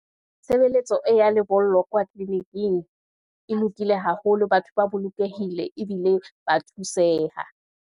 Tshebeletso ya lebollo kwa tleliniking, e lokile haholo, batho ba bolokehile, ebile ba thuseha.